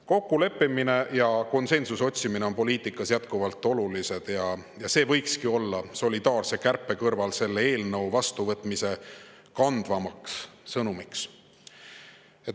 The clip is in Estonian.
Kokkuleppimine ja konsensuse otsimine on poliitikas jätkuvalt olulised ja see võikski selle solidaarse kärpe kõrval olla selle eelnõu vastu võtmise kandvaks sõnumiks.